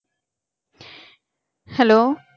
hello